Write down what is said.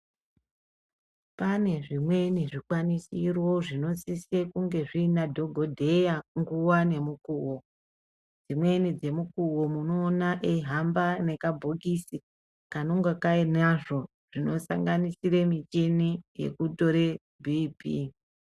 Pane zvimweni zvikwanisiro zvinosise kunge zviina dhokodheya nguwa nemukuwo. Dzimweni dzemukuwo munoona eihamba nekabhokisi kanonga kainzvo zvinosanganisire michini yekutora BP.